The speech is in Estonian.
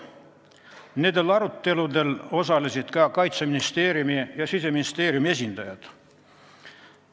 Nendel aruteludel osalesid ka Kaitseministeeriumi ja Siseministeeriumi esindajad.